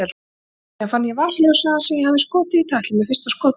Síðan fann ég vasaljósið hans sem ég hafði skotið í tætlur með fyrsta skotinu.